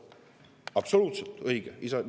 Absoluutselt õige!